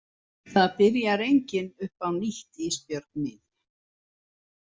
Það byrjar enginn upp á nýtt Ísbjörg mín.